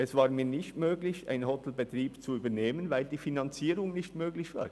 Es gelang mir nicht, einen Hotelbetrieb zu übernehmen, weil die Finanzierung nicht möglich war.